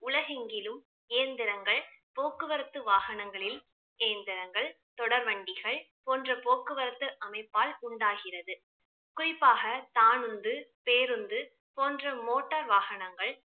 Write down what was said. உலகெங்கிலும் இயந்திரங்கள் போக்குவரத்து வாகனங்களில் இயந்திரங்கள், தொடர்வண்டிகள் போன்ற போக்குவரத்து அமைப்பால் உண்டாகிறது குறிப்பாக தானுந்து, பேருந்து போன்ற motor வாகனங்கள்